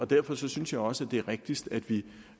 derfor synes jeg også det er rigtigst at vi